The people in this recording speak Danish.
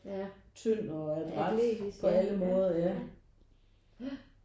Ja atletisk ja ja ja jah